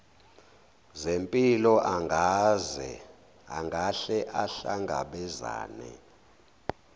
zempilo angahle ahlangabezane